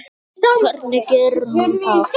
Hvernig gerir hún það?